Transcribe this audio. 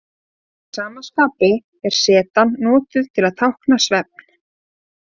Að sama skapi er zetan notuð til að tákna svefn.